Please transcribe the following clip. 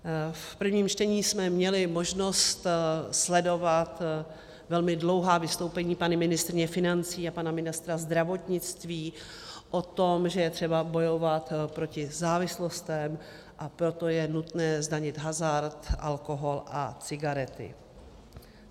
V prvním čtení jsme měli možnost sledovat velmi dlouhá vystoupení paní ministryně financí a pana ministra zdravotnictví o tom, že je třeba bojovat proti závislostem, a proto je nutné zdanit hazard, alkohol a cigarety.